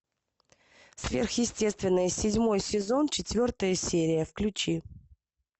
сверхъестественное седьмой сезон четвертая серия включи